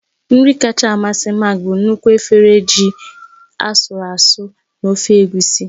Nri kacha amasị Mark bụ nnukwu efere ji asụru asụ́ na ofe egusi.